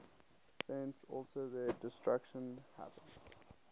thence also their destruction happens